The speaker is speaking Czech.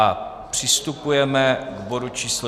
A přistupujeme k bodu číslo